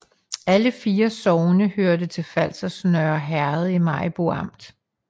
Alle 4 sogne hørte til Falsters Nørre Herred i Maribo Amt